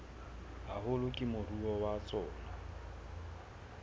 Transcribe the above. haholo ke moruo wa tsona